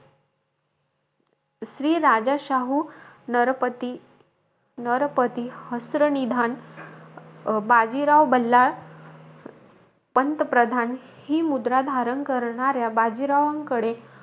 श्री राजा शाहू नरपती नरपती, हस्त्र निधान अं बाजीराव बल्लाळ पंतप्रधान ही मुद्रा, धारण करणाऱ्या बाजीरावांकडे,